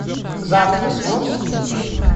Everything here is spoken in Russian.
завтра сможешь скинуть